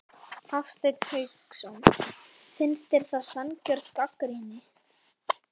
Hafsteinn Hauksson: Finnst þér það sanngjörn gagnrýni?